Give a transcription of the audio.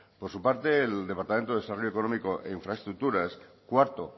por su parte el departamento de desarrollo económico e infraestructuras cuarto